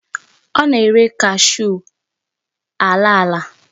Onye na-ere cashew alaala.